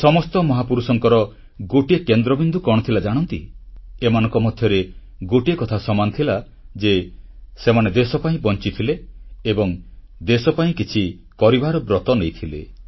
ଏ ସମସ୍ତ ମହାପୁରୁଷଙ୍କର ଗୋଟିଏ କେନ୍ଦ୍ରବିନ୍ଦୁ କଣ ଥିଲା ଜାଣନ୍ତି ଏମାନଙ୍କ ମଧ୍ୟରେ ଗୋଟିଏ କଥା ସମାନ ଥିଲା ଯେ ସେମାନେ ଦେଶ ପାଇଁ ବଂଚିଥିଲେ ଏବଂ ଦେଶ ପାଇଁ କିଛି କରିବାର ବ୍ରତ ନେଇଥିଲେ